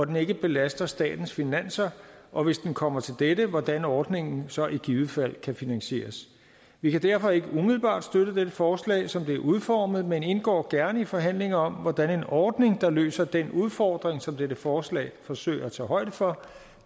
den ikke belaster statens finanser og hvis den kommer til det det hvordan ordningen så i givet fald kan finansieres vi kan derfor ikke umiddelbart støtte dette forslag som det er udformet men indgår gerne i forhandlinger om hvordan en ordning der løser den udfordring som dette forslag forsøger at tage højde for